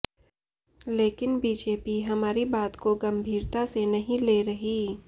लेकिन बीजेपी हमारी बात को गंभीरता से नहीं ले रही